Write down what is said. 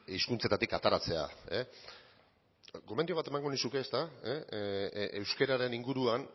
hizkuntzetatik ateratzea gomendio bat emango nizuke ezta euskararen inguruan